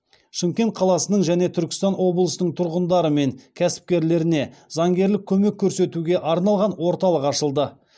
шымкент қаласының және түркістан облысының тұрғындарымен кәсіпкерлеріне заңгерлік көмек көрсетуге арналған орталық ашылды